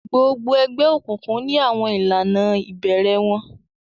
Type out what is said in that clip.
gbogbo ègbé òkùnkùn ní àwọn ìlànà ibẹrẹ wón